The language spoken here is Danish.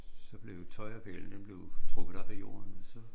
Som blev tøjrepælen den blev trukket op af jorden og så